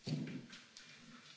Panie Przewodniczący!